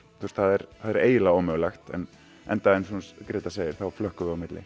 það er það er eiginlega ómögulegt enda eins og Gréta segir þá flökkum við á milli